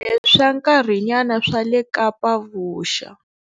Swa nkarhinyana swa le Kapa-Vuxa.